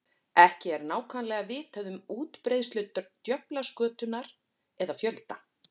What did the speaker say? Ekki er nákvæmlega vitað um útbreiðslu djöflaskötunnar eða fjölda.